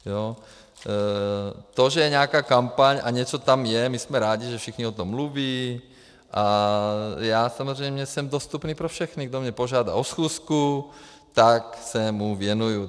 To, že je nějaká kampaň a něco tam je, my jsme rádi, že všichni o tom mluví, a já samozřejmě jsem dostupný pro všechny, kdo mě požádá o schůzku, tak se mu věnuju.